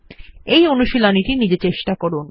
এই অনুশীলনীটি নিজে চেষ্টা করুন